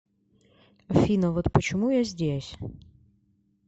афина вот почему я здесь